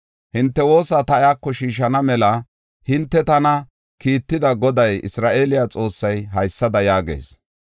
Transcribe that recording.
Hinte woosa ta iyako shiishana mela hinte tana kiitida Goday Isra7eele Xoossay haysada yaagees.